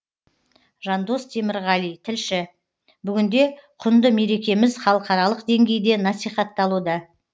жандос темірғали тілші бүгінде құнды мерекеміз халықаралық деңгейде насихатталуда